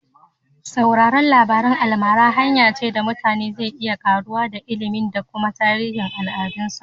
Saurar labarin almara hanya ce da mutum zai iya karuwa da ilimi da kuma tarihin al'adunsa.